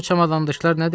Bu çamadançılar nədir?